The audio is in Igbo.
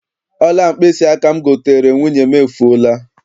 Ọla mkpịsịaka m goteere nwunye m, efuola.